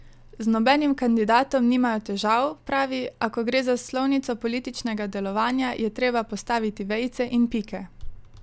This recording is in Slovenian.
Z nobenim kandidatom nimajo težav, pravi, a ko gre za slovnico političnega delovanja, je treba postaviti vejice in pike.